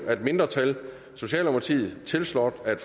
af et mindretal tiltrådt af